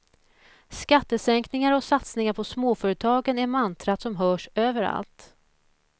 Skattesänkningar och satsningar på småföretagen är mantrat som hörs överallt.